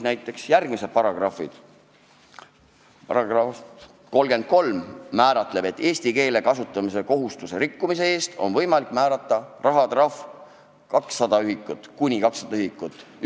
Näiteks § 33 sätestab, et eesti keele kasutamise kohustuse rikkumise eest on võimalik määrata rahatrahv kuni 200 ühikut.